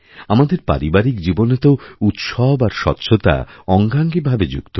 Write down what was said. আমাদের পারিবারিক জীবনে তো উৎসব আর স্বচ্ছতা অঙ্গাঙ্গীভাবেযুক্ত